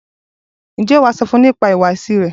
Ǹjẹ́ wàá sọ fún nípa ìhùwàsí rẹ?